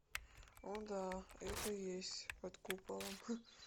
о да это есть под куполом